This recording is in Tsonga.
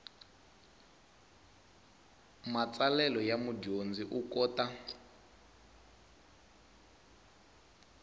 matsalelo ya mudyondzi u kota